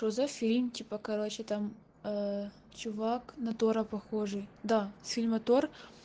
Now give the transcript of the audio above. что за фильм типа короче там э чувак на таро похожий да с фильма тор